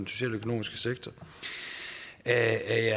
socialøkonomiske sektor er jeg